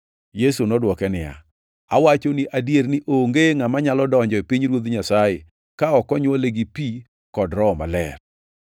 Yesu nodwoke niya, “Awachoni adier ni onge ngʼama nyalo donjo e pinyruoth Nyasaye ka ok onywole gi pi kod Roho Maler.